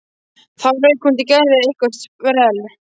Þá rauk hún til og gerði eitthvert sprell.